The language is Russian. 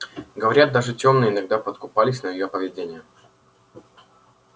говорят даже тёмные иногда подкупались на её поведение